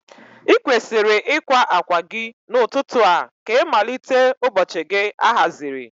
I kwesiri ịkwa akwa gị n'ụtụtụ a ka ịmalite ụbọchị gị ahaziri.